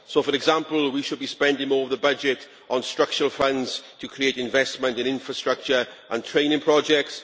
So, for example, we should be spending more of the budget on structural funds to create investment in infrastructure and training projects.